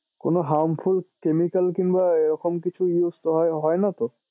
কোনো harmful chemical কিংবা এরকম কিছু used হ হয় নাতো?